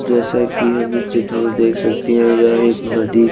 जेसा की आप इस चित्र में देख सकते है या एक नदी--